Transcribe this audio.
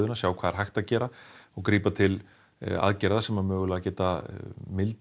sjá hvað hægt er að gera og grípa til aðgerða sem geta mildað